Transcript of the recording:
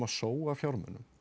sóa fjármunum